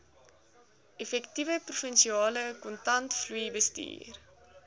effektiewe provinsiale kontantvloeibestuur